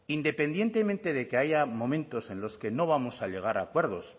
independientemente de que haya momentos en los que no vamos a llegar a acuerdos